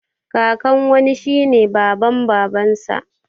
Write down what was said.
Kakan wani shine baban babansa